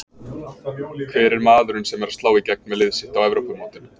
Hver er maðurinn sem er að slá í gegn með lið sitt á Evrópumótinu?